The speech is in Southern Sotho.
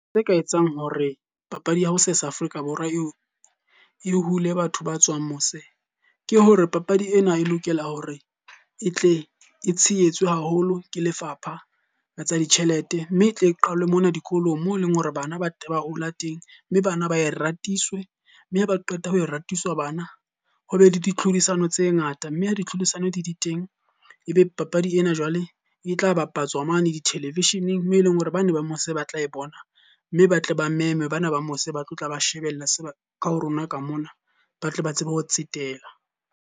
Tse ka etsang hore papadi ya ho sesa Afrika Borwa eo e hule batho ba tswang mose. Ke hore papadi ena e lokela hore e tle e tshehetswe haholo ke lefapha ka tsa ditjhelete. Mme e tle qalwe mona dikolong moo e leng hore bana ba ba hola teng mme bana ba e ratisiswe. Mme ha ba qeta ho e ratisiswe bana, ho be le di tlhodisano tse ngata mme ha di tlhodisano di di teng. E be papadi ena jwale e tla bapatswa mane di-television-eng mo eleng hore bane ba mose ba tla e bona. Mme ba tle ba meme bana ba mose ba tlo tla ba shebella se ka ho rona ka mona, ba tle ba tsebe ho tsetela.